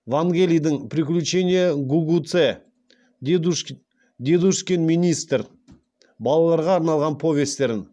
вангелидің приключения гугуце дедушкин министр балаларға арналған повестерін